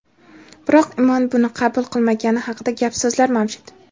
biroq Imon buni qabul qilmagani haqida gap-so‘zlar mavjud.